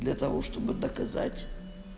для того чтобы доказать